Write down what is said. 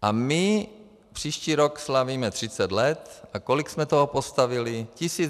A my příští rok slavíme 30 let a kolik jsme toho postavili?